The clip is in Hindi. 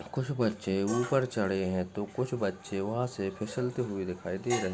कुछ बच्चे उपर चड़े है तो कुछ बच्चे वहाँ से फिसलते हुए दिखाई दे रहे--